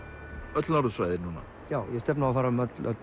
öll norðursvæðin núna já ég stefni á að fara um öll